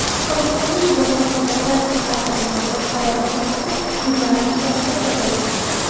Qolganlarning jazo mudddatlari qisqartirilgan, boshqalariga nisbatan jinoyat ishlari to‘xtatilgan.